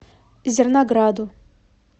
зернограду